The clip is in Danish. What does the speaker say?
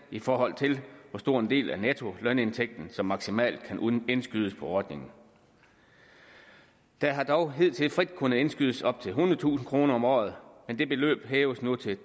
i forhold til hvor stor en del af nettolønindtægten som maksimalt kan indskydes på ordningen der har dog hidtil frit kunnet indskydes op til ethundredetusind kroner om året men det beløb hæves nu til